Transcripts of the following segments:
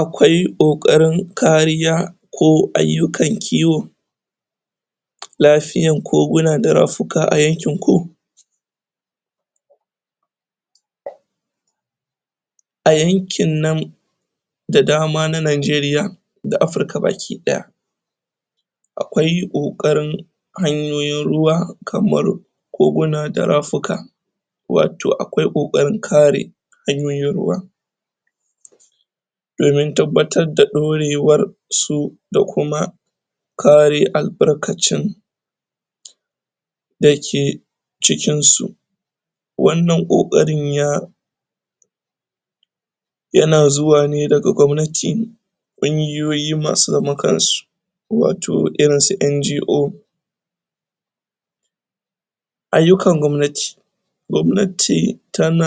akwai kokarin kariya ko aiyukan kiwo lafiyan koguna da rafika a yankin ku a yankin nan da dama na Nigeria da Africa baki daya akwai kokarin hanyoyin ruwa kaman koguna da rafika wato akwai kokarin kare hanyoyin ruwa domin tababtar da dorewar su da kuma kare albarkacin dake cikin su wan nan kokarin ya yana zuwa ne, daga kwamnati kungiyoyi masu zaman kansu wato irin su NGO aiyukan kwannati kwannati tana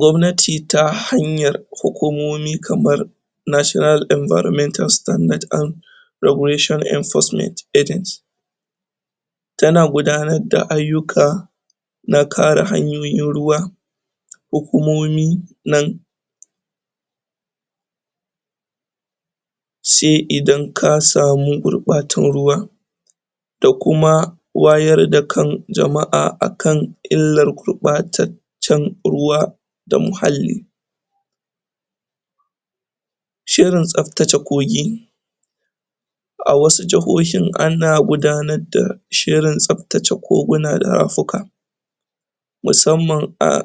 kwannati ta hanyan hukumomi kaman National Enviromental Standar and Regulation Enforcement Agency tana gudanar da aiyuka na kare hanyoyin ruwa hukumomin nan sai idan ka samu gurbatan ruwa da kuma wayar da kan jamaa akan illar gurbatan Jan ruwa da muhalli shirin tsabtace kogi a wasu jahohin ana gudanar da shirin tsabtace koguna da rafuka musamman a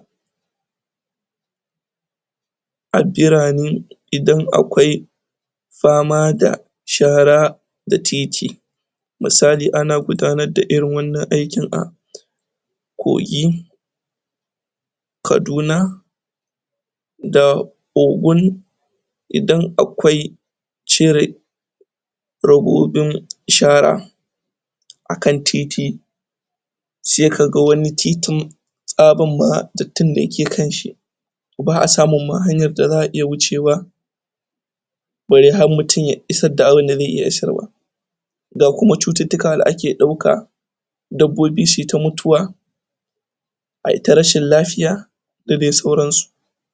addirani idan akwai fama da shara da titi musali ana gudanar da irin wan nan aiki a kogi kaduna da Ogun idan akwai cire robibin shara akan titi sai ka ga wani titin tsabar ma dattin da yake kanshi baa samun ma hanyan da zaa iya hucewa bare har mutun ya isar da abun da zai iya isarwa ga kuma tsutittika da ake dauka dabbobi suita mutuwa ai ta rashin lafiya da dai sauran su